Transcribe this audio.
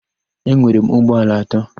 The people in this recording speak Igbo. Enwere m ụgbọala atọ.